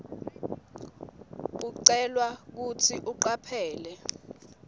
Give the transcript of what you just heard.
ucelwa kutsi ucaphele